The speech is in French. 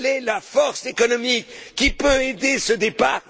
région? Quelle est la force économique qui peut aider ce